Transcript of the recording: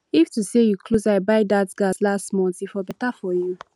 if to say you close eye buy that gas last month e for better for you